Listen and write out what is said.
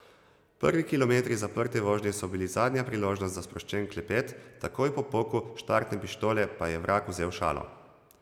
Prvi kilometri zaprte vožnje so bili zadnja priložnost za sproščen klepet, takoj po poku štartne pištole pa je vrag vzel šalo.